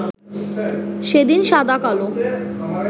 সেদিন সাদা-কালো